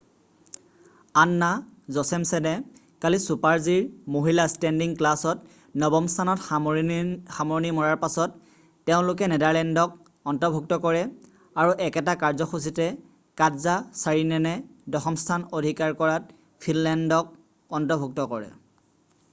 আন্না জচেমছেনে কালি ছুপাৰ-জিৰ মহিলা ষ্টেণ্ডিং ক্লাছত নৱম স্থানত সামৰণি মৰাৰ পাছত তেওঁলোকে নেডাৰলেণ্ডক অন্তৰ্ভুক্ত কৰে আৰু একেটা কাৰ্যসূচীতে কাটজা ছাৰিনেনে দশম স্থান অধিকাৰ কৰাত ফিনলেণ্ডক অন্তৰ্ভুক্ত কৰে